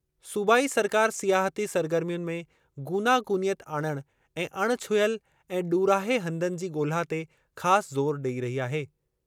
सूबाई सरकार सियाहती सरगर्मियुनि में गूनागूनियत आणणु ऐं अणिछुहियल ऐं ॾूरांहें हंधनि जी ॻोल्हा ते ख़ासि ज़ोर ॾेई रही आहे।